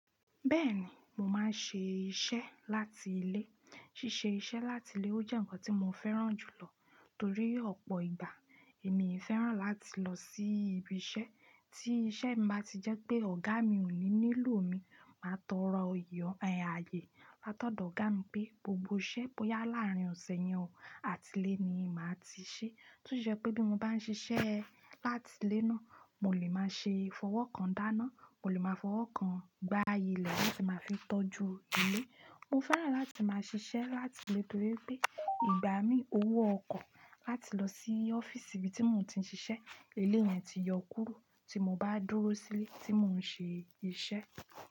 Bẹ́ẹ̀ni, mo máa ń ṣe iṣẹ́ láti ilé. Ṣíṣe iṣẹ́ láti ilé ó jẹ́ ǹkan tí mo fẹ́ràn jù lọ torí ọ̀pọ̀ ìgbà èmi fẹ́ràn láti lọ sí ibi iṣẹ́. Tí iṣẹ́ mi ba ti jẹ́ pé ọ̀gá mi ò ní nílò mi, màá tọrọ aye látọ̀dọ̀ ọ̀gá mi pé gbogbo iṣẹ́ bóyá láàárín ọ̀sẹ̀ yẹn ò àti ilé ni màá ti ṣe. Tí ó ṣe pé bí mo bá ń ṣiṣẹ́ láti ilé náà, mo lè máa ṣe fọwọ́ kan dáná, mo lè máa fọwọ́ kan gba ilẹ latí màá fi tọ́jú ilé. Mo fẹ́ràn láti máa ṣiṣẹ́ láti ilé torí pé ìgbà mí owó ọkọ̀ láti lọ sí ọ́fíìsì ibi tí mò ń ti ń ṣiṣẹ́, ilé yẹn ti yọ kúrú tí mo bá dúró sílé tí mò ń ṣe iṣẹ́.